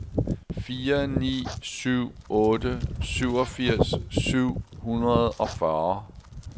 fire ni syv otte syvogfirs syv hundrede og fyrre